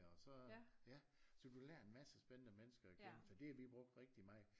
Og så øh ja så du lærer en masse spændende mennesker at kende så det har vi brugt rigtig meget